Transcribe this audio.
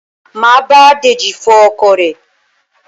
Máa bá Deji fọ ọkọ̀ rẹ̀